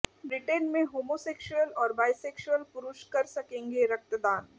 Britain में homosexual और bisexual पुरुष कर सकेंगे रक्तदान